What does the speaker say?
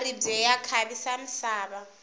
maribye ya khavisa misava